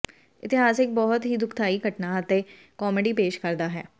ਇਤਿਹਾਸ ਇਕ ਬਹੁਤ ਹੀ ਦੁਖਦਾਈ ਘਟਨਾ ਅਤੇ ਕਾਮੇਡੀ ਪੇਸ਼ ਕਰਦਾ ਹੈ